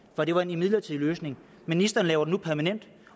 for det var en midlertidig løsning ministeren laver den nu permanent